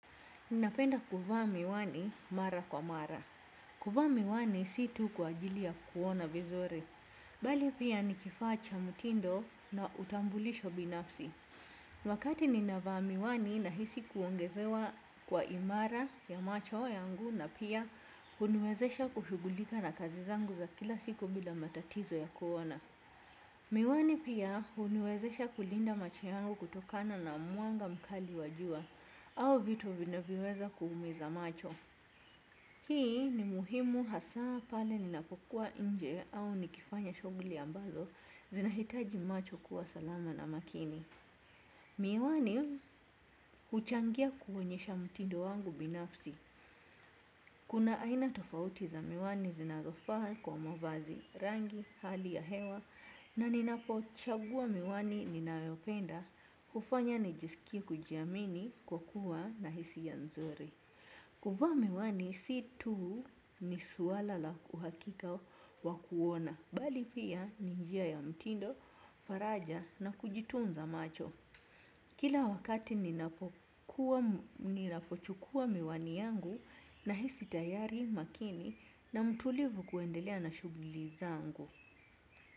Ninapenda kuvaa miwani mara kwa mara. Kuvaa miwani si tu kwa ajili ya kuona vizuri. Bali pia nikifaa cha mutindo na utambulisho binafsi. Wakati ninavaa miwani nahisi kuongezewa kwa imara ya macho yangu na pia huniwezesha kushughulika na kazi zangu za kila siku bila matatizo ya kuona. Miwani pia huniwezesha kulinda macho yangu kutokana na mwanga mkali wa jua au vitu vinavyoweza kuumiza macho. Hii ni muhimu hasaa pale ninapokuwa inje au nikifanya shughuli ambazo zinahitaji macho kuwa salama na makini. Miwani huchangia kuonyesha mutindo wangu binafsi. Kuna aina tofauti za miwani zinazofaa kwa mavazi rangi hali ya hewa na ninapo chagua miwani ninayopenda hufanya nijisikie kujiamini kwa kuwa na hisiya nzuri. Kuvaa miwani si tu ni swala la uhakika wa kuona bali pia ni njia ya mutindo, faraja na kujitunza macho. Kila wakati ninapokuwa, ninapochukuwa miwani yangu nahisi tayari makini na mtulivu kuendelea na shughuli zangu.